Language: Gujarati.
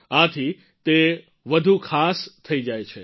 આથી તે વધુ પણ ખાસ થઈ જાય છે